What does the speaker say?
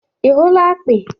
ị hụla akpị?